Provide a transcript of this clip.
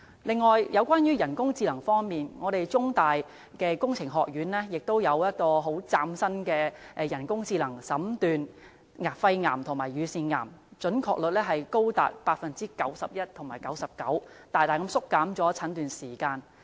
此外，在人工智能方面，中文大學工程學院亦有一個嶄新的人工智能診斷肺癌和乳腺癌技術，準確率高達 91% 及 99%， 大大縮短了診斷時間。